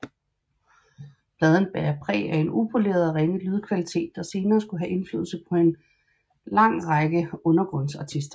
Pladen bærer præg af en upoleret og ringe lydkvalitet der senere skulle have indflydelse på en lange række undergrundsartister